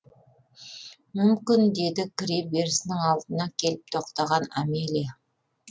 мүмкін деді кіре берісінің алдына келіп тоқтаған амелия